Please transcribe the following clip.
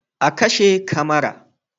A kashe kamara